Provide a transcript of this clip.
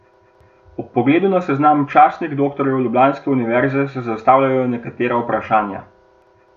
Ob pogledu na seznam častnih doktorjev ljubljanske univerze se zastavljajo nekatera vprašanja.